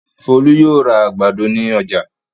Folú yóò ra àgbàdo ní ọjà.